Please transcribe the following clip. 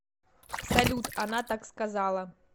салют она так сказала